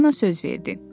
Çipollino söz verdi.